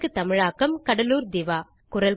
இதற்கு தமிழாக்கம் கடலூர் திவா